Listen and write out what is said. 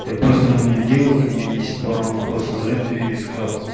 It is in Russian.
я просто у меня дело к ней есть пару вопросов за это я ей сказал